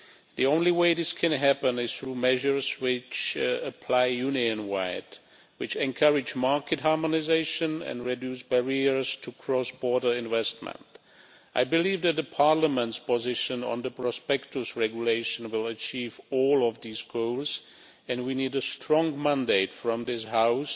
The only way this can happen is through measures which apply Union wide and which encourage market harmonisation and reduce barriers to cross-border investment. I believe that Parliament's position on the Prospectus Regulation will achieve all of these goals, and we need a strong mandate from this House